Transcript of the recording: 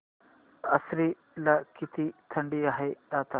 आश्वी ला किती थंडी आहे आता